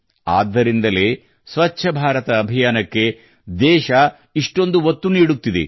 ಆದ್ದರಿಂದಲೇ ಸ್ವಚ್ಛ ಭಾರತ ಅಭಿಯಾನಕ್ಕೆ ದೇಶ ಇಷ್ಟೊಂದು ಒತ್ತು ನೀಡುತ್ತಿದೆ